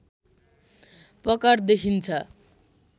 पकड देखिन्छ